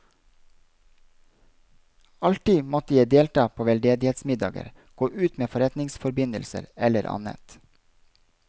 Alltid måtte jeg delta på veldedighetsmiddager, gå ut med forretningsforbindelser eller annet.